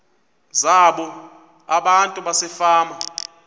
zabo abantu basefama